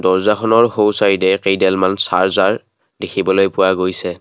দৰ্জাখনৰ সোঁছাইডে কেইডালমান চাৰ্জাৰ দেখিবলৈ পোৱা গৈছে।